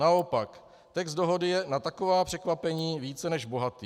Naopak, text dohody je na taková překvapení více než bohatý.